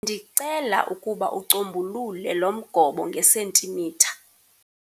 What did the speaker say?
Ndicela ukuba ucombulule lo mgobo ngesentimitha.